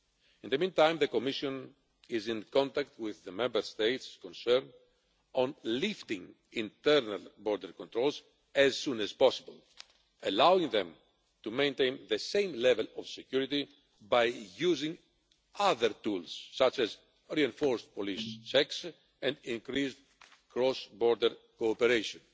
In the meantime, the Commission is in contact with the Member States concerned on lifting internal border controls as soon as possible, allowing them to maintain the same level of security by using other tools, such as reinforced police checks and increased cross border cooperation.